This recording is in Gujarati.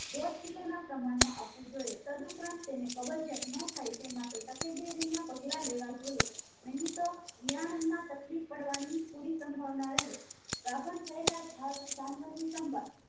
દોઢ કિલોના પ્રમાણમાં આપવું જોઈએ તદ્ ઉપરાંત તેને કબજિયાત ન થાય તેમાટે તકેદારી ના પગલાં લેવા જોઈએ નહિ તો વિયાણમાં તકલીફ પાડવા ની પુરી સંભવના રહે ગાભણ થયેલા ધા જાનવર ની સંભાળ